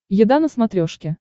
еда на смотрешке